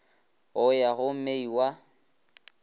go ya go mei wa